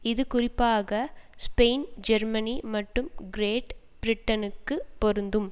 இது குறிப்பாக Spain Germany மற்றும் கிரேட் பிரிட்டனுக்கு பொருந்தும்